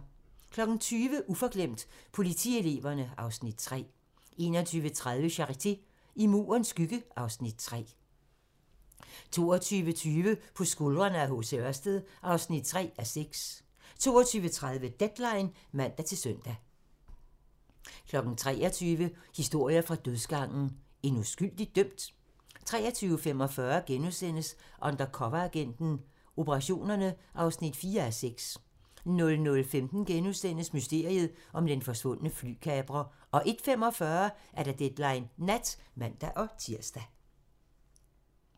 20:00: Uforglemt: Politieleverne (Afs. 3) 21:30: Charité - I Murens skygge (Afs. 3) 22:20: På skuldrene af H. C. Ørsted (3:6) 22:30: Deadline (man-søn) 23:00: Historier fra dødsgangen - En uskyldigt dømt? 23:45: Undercoveragenten - Operationerne (4:6)* 00:15: Mysteriet om den forsvundne flykaprer * 01:45: Deadline Nat (man-tir)